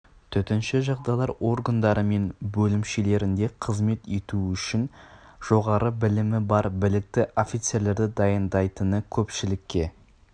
төтенше жағдайлар органдары мен бөлімшелерінде қызмет ету үшін жоғары білімі бар білікті офицерлерді даярлайтыны көпшілікке